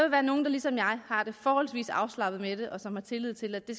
være nogle der ligesom jeg har det forholdsvis afslappet med det og som har tillid til at det